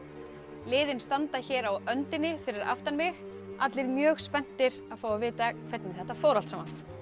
liðin standa hér á öndinni fyrir aftan mig allir mjög spenntir að fá að vita hvernig þetta fór allt saman